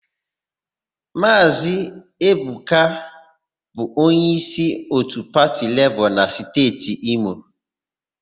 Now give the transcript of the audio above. Maazị Eboka bụ onyeísí òtù pati Lebọọ na Steeti Imo.